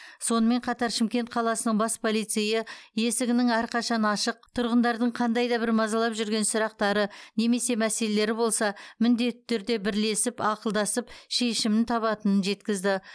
сонымен қатар шымкент қаласының бас полицейі есігінің әрқашан ашық тұрғындардың қандай да бір мазалап жүрген сұрақтары немесе мәселелері болса міндетті түрде бірлесіп ақылдасып шешімін табатынын жеткізді